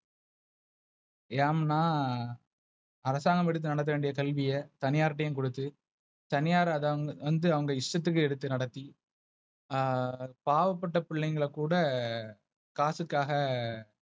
ஏன்னா அரசாங்கம் எடுத்து நடத்த வேண்டிய கேள்விய தனியாரிடம் கொடுத்து தனியார் அவங்க இஷ்டத்துக்கு எடுத்து நடத்தி. ஆஹ் பாவப்பட்ட புள்ளைங்கள கூட காசுக்காக.